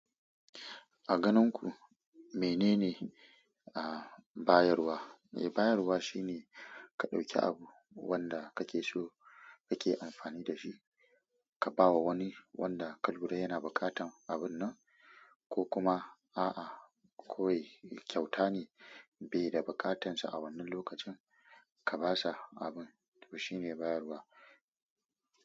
A ganin ku menene, ah, bayarwa? Eh, bayarwa shine ka ɗauki abu wanda kake so kake amfani da shi, ka ba wa wani wanda ka lura yana buƙatan abun nan, ko kuma a'a, kawai kyauta ne bai da buƙatarsa a wannan lokacin ka ba sa abun, to shine bayarwa.